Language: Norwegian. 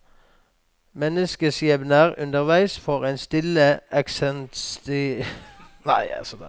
Menneskeskjebner underveis får en til å stille eksistensielle spørsmål om hvordan en selv lever.